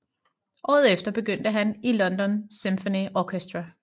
Året efter begyndte han i London Symphony Orchestra